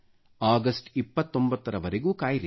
ಅಗಷ್ಟ 29ರ ವರೆಗೂ ಕಾಯಿರಿ